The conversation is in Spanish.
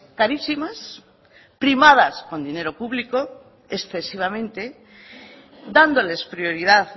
carísimas primadas con dinero público excesivamente dándoles prioridad